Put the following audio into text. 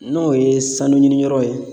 N'o ye sanu ɲiniyɔrɔw ye